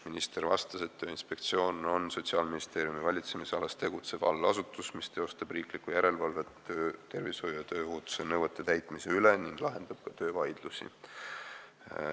Minister vastas, et Tööinspektsioon on Sotsiaalministeeriumi valitsemisalas tegutsev allasutus, mis teeb riiklikku järelevalvet töötervishoiu ja tööohutuse nõuete täitmise üle ning lahendab ka töövaidlusi.